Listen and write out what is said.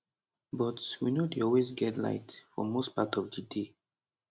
but we no dey always get light for most part of di day